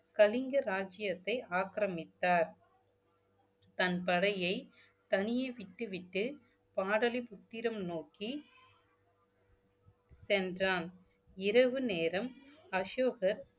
கலிங்க ராஜ்யத்தை ஆக்கிரமித்தார் தன் படையை தனியே விட்டுவிட்டு பாடலிபுத்திரம் நோக்கி சென்றான் இரவு நேரம் அசோகர்